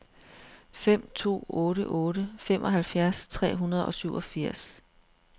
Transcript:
fem to otte otte femoghalvfjerds tre hundrede og syvogfirs